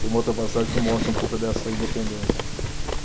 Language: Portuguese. Tem uma outra passagem que mostra um pouco dessa independência.